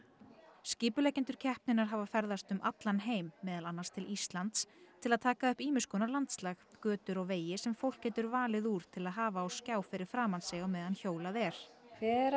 skipuleggjendur keppninnar hafa ferðast um allan heim meðal annars til Íslands til að taka upp ýmiss konar landslag götur og vegi sem fólk getur valið úr til að hafa á skjá fyrir framan sig á meðan hjólað er hver á